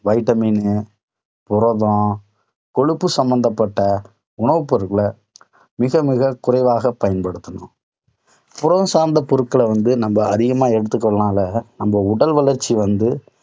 vitamin புரதம், கொழுப்பு சம்பந்தப்பட்ட உணவுப் பொருட்களை மிக, மிக குறைவாக பயன்படுத்தணும். புரதம் சார்ந்த பொருட்களை வந்து நம்ம அதிகமா எடுத்துக்கிறதுனால நம்ம உடல் வளர்ச்சி வந்து